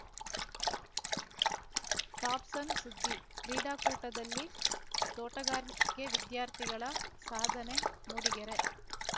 top ಸಣ್‌ಸುದ್ದಿ ಕ್ರೀಡಾಕೂಟದಲ್ಲಿ ತೋಟಗಾರಿಕೆ ವಿದ್ಯಾರ್ಥಿಗಳ ಸಾಧನೆ ಮೂಡಿಗೆರೆ